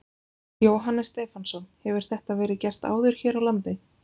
Jóhannes Stefánsson: Hefur þetta verið gert áður hér á landi?